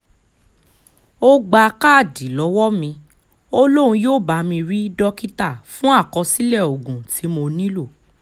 ó gba káàdì lọ́wọ́ mi ó lóun yóò bá mi rí dókítà fún àkọsílẹ̀ oògùn tí mo nílò